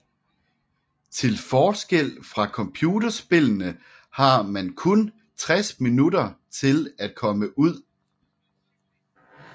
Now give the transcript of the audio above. Til forskel fra computerspillene har man kun 60 minutter til at komme ud